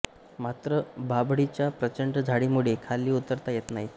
मात्र बाभळीच्या प्रचंड झाडीमुळे खाली उतरता येत नाही